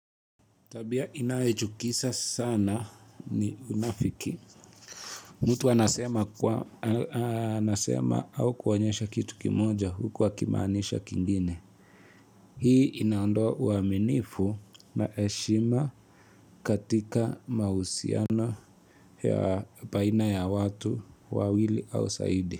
Tabia inayochukiza sana ni unafiki. Mtu anasema au kuonyesha kitu kimoja huku akimaanisha kingine. Hii inaondoa uaminifu na heshima katika mahusiano ya baina ya watu wawili au zaidi.